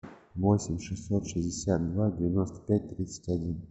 восемь шестьсот шестьдесят два девяносто пять тридцать один